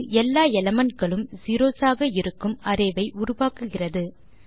அது எல்லா எலிமென்ட்ஸ் களும் செரோஸ் ஆக இருக்கும் அரே வை உருவாக்குகிறது